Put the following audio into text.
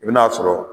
I bi n'a sɔrɔ